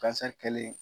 kɛlen